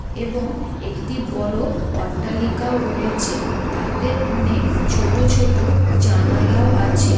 এবং একটি বড় অট্টালিকাও রয়েছে তাতে অনেক ছোট ছোট জানালাও আছে।